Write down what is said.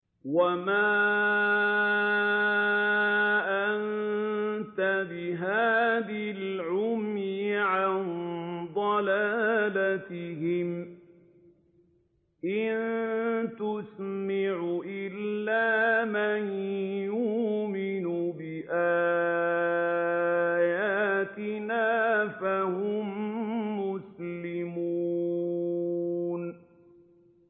وَمَا أَنتَ بِهَادِ الْعُمْيِ عَن ضَلَالَتِهِمْ ۖ إِن تُسْمِعُ إِلَّا مَن يُؤْمِنُ بِآيَاتِنَا فَهُم مُّسْلِمُونَ